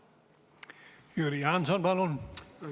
Jüri Jaanson, palun!